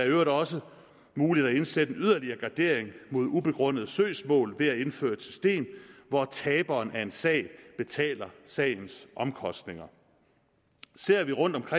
øvrigt også muligt at indsætte en yderligere gardering mod ubegrundede søgsmål ved at indføre et system hvor taberen i en sag betaler sagens omkostninger ser vi rundt